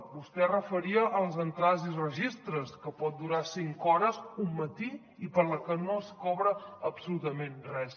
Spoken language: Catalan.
vostè es referia a les entrades i registres que poden durar cinc hores un matí i pels que no es cobra absolutament res